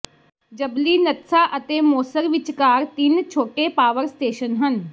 ਯੱਬਲਿਨਤਸਾ ਅਤੇ ਮੋਸਰ ਵਿਚਕਾਰ ਤਿੰਨ ਛੋਟੇ ਪਾਵਰ ਸਟੇਸ਼ਨ ਹਨ